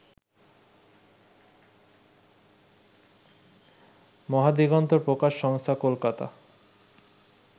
মহাদিগন্ত প্রকাশ সংস্হা কলকাতা